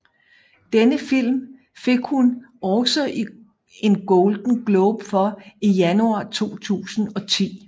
Denne film fik hun også en Golden Globe for i januar 2010